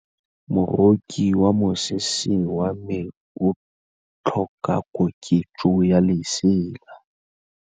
Moroki wa mosese wa me o tlhoka koketsô ya lesela.